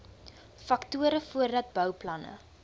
faktore voordat bouplanne